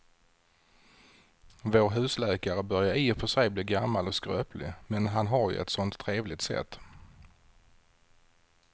Vår husläkare börjar i och för sig bli gammal och skröplig, men han har ju ett sådant trevligt sätt!